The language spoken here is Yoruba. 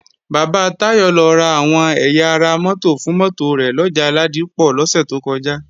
Bàbá Táyọ̀ lọ ra àwọn ẹ̀yà ara mótò fún mótò rẹ̀ lọjà Ládípọ̀ lọ́sẹ̀ tó kọjá